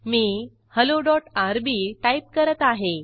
मी helloआरबी टाईप करत आहे